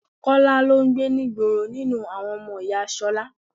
Kọ́lá lọ ń gbé ní ìgboro nínú àwọn ọmọ ìyá Ṣọlá.